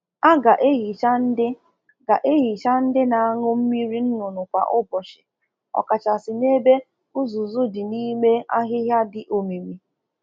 O kwesịrị ka a na asacha okpo na agbanyere ụmụ ọkụkọ mmiri na efere mmiri ọñụñụ ha kwa ụbọchi, ọkachasị n'ụlọ ọkụkọ akụchịbidoro akụchị